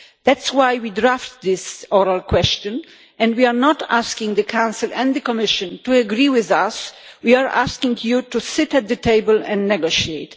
That is why we drafted this oral question. We are not asking the Council and the Commission to agree with us. We are asking them to sit at the table and negotiate.